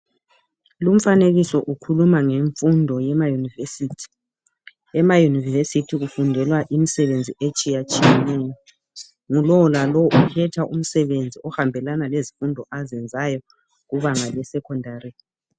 Lumfanekiso ukhuluma ngemfundo yemayunivesithi, emayunivesithi kufundelwa imisebenzi esthiyetshiyeneyo, ngulolalo ukhetha umsebeni ohambelana lezifundo azenzayo kubanga le secondary.